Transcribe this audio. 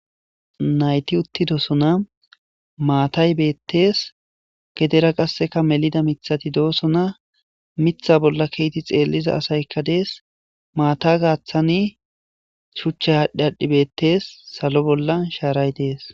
Nayti uttidosona maatay beettees gedera qasseka melida mithati doosona mitha bolla keeti xeelliza asaykka dees maata gaaththani shuchcha haadhdhi adhdhi beettes salo bolla shaaray dees.